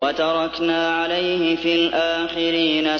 وَتَرَكْنَا عَلَيْهِ فِي الْآخِرِينَ